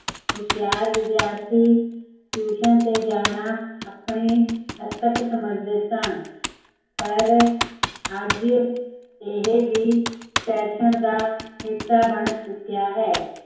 ਹੁਸ਼ਿਆਰ ਵਿਦਿਆਰਥੀ, ਤੇ ਜਾਣਾ ਆਪਣੀ ਅੱਧਕ ਸਮਜਦੇ ਸਨ ਪਰ, ਅੱਜ, ਇਹ ਵੀ ਫੈਸ਼ਨ ਦਾ ਹਿੱਸਾ ਬਣ ਚੁੱਕਿਆ ਹੈ